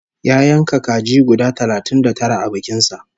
Ya yanka kaji guda talatin da tara a bikin sa